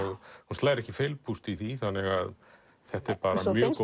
slær ekki feilpúst í því þetta er mjög